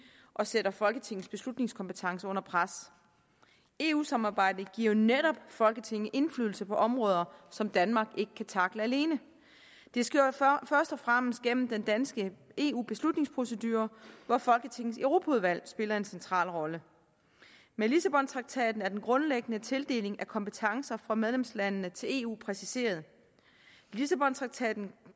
og sætter folketingets beslutningskompetence under pres eu samarbejdet giver jo netop folketinget indflydelse på områder som danmark ikke kan tackle alene det sker først og fremmest gennem den danske eu beslutningsprocedure hvor folketingets europaudvalg spiller en central rolle med lissabontraktaten er den grundlæggende tildeling af kompetencer fra medlemslandene til eu præciseret lissabontraktaten